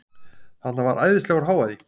Þarna var æðislegur hávaði.